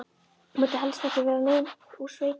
Það mátti helst ekki vera neinn úr sveitinni.